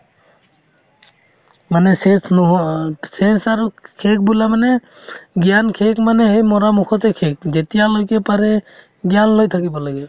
মানে চেচ নোহোৱাত চেচ আৰু শেষ বোলা মানে জ্ঞান শেষ মানে সেই মৰামুখতে শেষ যেতিয়ালৈকে পাৰে জ্ঞান লৈ থাকিব লাগে